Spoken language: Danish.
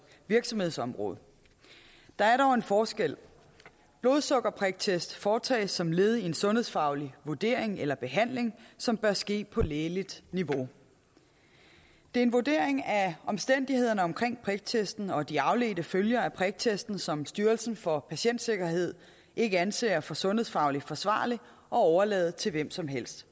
virksomhedsområde der er dog en forskel blodsukkerpriktest foretages som led i en sundhedsfaglig vurdering eller behandling som bør ske på lægeligt niveau det er en vurdering af omstændighederne omkring priktesten og de afledte følger af priktesten som styrelsen for patientsikkerhed ikke anser det for sundhedsfagligt forsvarligt at overlade til hvem som helst